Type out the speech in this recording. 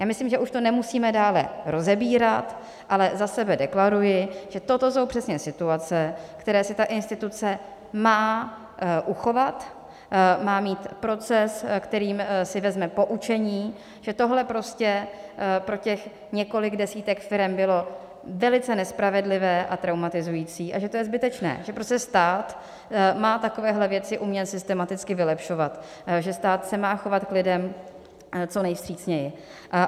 Já myslím, že už to nemusíme dále rozebírat, ale za sebe deklaruji, že toto jsou přesně situace, které si ta instituce má uchovat, má mít proces, kterým si vezme poučení, že tohle prostě pro těch několik desítek firem bylo velice nespravedlivé a traumatizující a že to je zbytečné, že prostě stát má takovéhle věci umět systematicky vylepšovat, že stát se má chovat k klidem co nejvstřícněji.